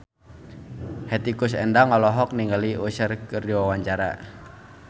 Hetty Koes Endang olohok ningali Usher keur diwawancara